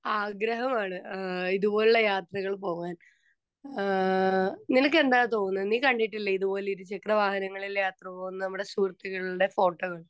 Speaker 2 ആഗ്രഹമാണ് അഹ് ഇതുപോലുള്ള യാത്രകൾ പോകാൻ. അഹ് നിനക്ക് എന്താ തോന്നുന്നെ നീ കണ്ടിട്ടില്ലേ ഇതുപോലെ ഇരുചക്ര വാഹനങ്ങളിൽ യാത്ര പോകുന്നെ നമ്മുടെ സുഹൃത്തുക്കളുടെ ഫോട്ടോകൾ